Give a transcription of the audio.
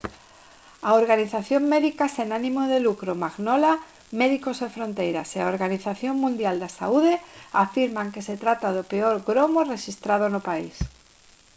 a organización médica sen ánimo de lucro mangola médicos sen fronteiras e a organización mundial da saúde afirman que se trata do peor gromo rexistrado no país